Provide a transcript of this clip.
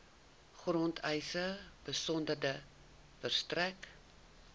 grondeise besonderhede verstrek